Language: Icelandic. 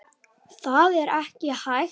En það er ekki hægt.